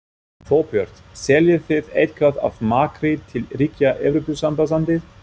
Þorbjörn: Seljið þið eitthvað af makríl til ríkja Evrópusambandsins?